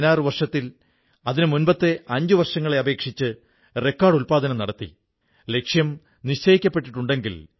മധ്യപ്രദേശിലെ സിംഗ്രൈലിയിലെ അധ്യാപിക ഉഷാ ദുബേജി സ്കൂട്ടിയെത്തന്നെ മൊബൈൽ ലൈബ്രറിയാക്കിമാറ്റിയിരിക്കയാണ്